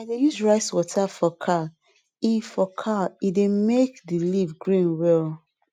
i dey use rice water for kale e for kale e dey make the leaf green well